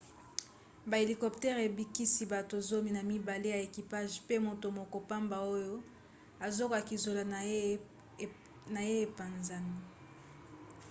bahélicoptèrese ebikisi bato zomi na mibale ya ekipage pe moto moko pamba oyo azokaki zolo na ye epanzani